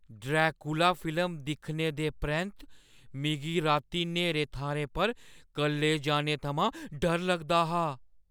Dracula film दिक्खने दे परैंत्त, मिगी राती न्हेरे थाह्‌रें पर कल्ले जाने थमां डर लगदा हा ।